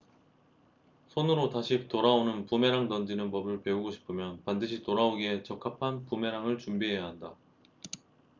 손으로 다시 돌아오는 부메랑 던지는 법을 배우고 싶으면 반드시 돌아오기에 적합한 부메랑을 준비해야 한다